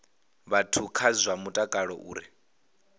vhathu kha zwa mutakalo uri